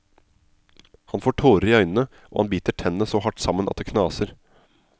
Han får tårer i øynene, og han biter tennene så hardt sammen at det knaser.